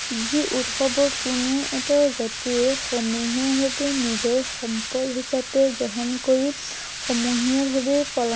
যি উৎসৱত কোনো এটা জাতিয়ে এই সমূহীয়াভাৱে নিজৰ সম্পদ হিচাপে গ্ৰহণ কৰি সমূহীয়া ভাৱে পালন